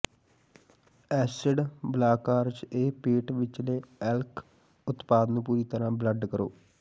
acid blockers ਇਹ ਪੇਟ ਵਿਚਲੇ ਐਲਕ ਉਤਪਾਦ ਨੂੰ ਪੂਰੀ ਤਰ੍ਹਾਂ ਬਲੱਡ ਕਰੋ